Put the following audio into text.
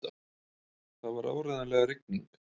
Það var áreiðanlega rigning.